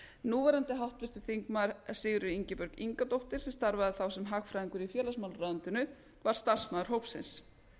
núverandi háttvirtur þingmaður sigríður ingibjörg ingadóttir sem starfaði þá sem hagfræðingur í félagsmálaráðuneytinu var starfsmaður hópsins